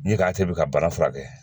N'i k'a kɛ i bɛ ka bana furakɛ